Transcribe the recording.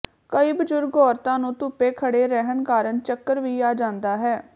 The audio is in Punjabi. ਕਈ ਬਜ਼ੁਰਗ ਔਰਤਾਂ ਨੂੰ ਧੁੱਪੇ ਖੜ੍ਹੇ ਰਹਿਣ ਕਾਰਨ ਚੱਕਰ ਵੀ ਆ ਜਾਂਦਾ ਹੈ